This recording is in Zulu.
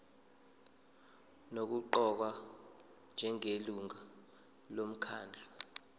nokuqokwa njengelungu lomkhandlu